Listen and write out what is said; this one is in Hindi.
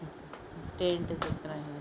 टेन्ट दिख रहे है।